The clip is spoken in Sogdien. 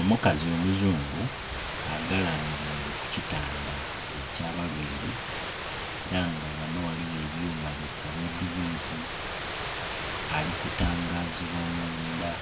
Omukazi omuzungu agalamilire kukitanda eky'abalwaire era nga ghano ghaliwo ebyuuma bikabwidhibwidhi ali kutangazibwa munda